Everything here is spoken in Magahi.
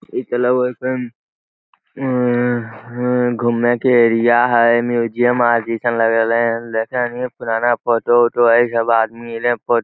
इ ता लगे हेय एकदम घूमे के एरिया हेय म्यूजियम आर जेसन लग रहले हन पुराना फोटो उटो हेय इ सब आदमी एले --